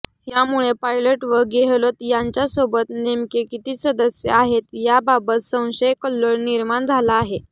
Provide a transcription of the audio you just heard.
यामुळे पायलट व गेहलोत यांच्यासोबत नेमके किती सदस्य आहेत याबाबत संशयकल्लोळ निर्माण झाला आहे